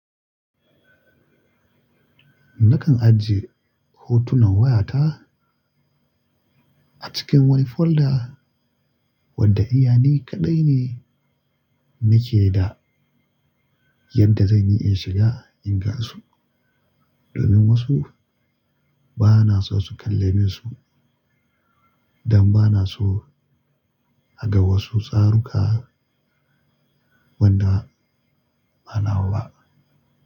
Nakan ajiye hotunan wayata a cikin wani folder wadda iyalai kaɗai ne nake da yanda zan iya shiga in gan su, domin wasu bana so su kalle min su dan bana so a ga wasu tsaruka wanda ba nawa ba.